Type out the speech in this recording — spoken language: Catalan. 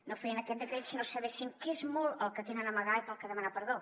no farien aquest decret si no sabessin que és molt el que tenen a amagar i pel que demanar perdó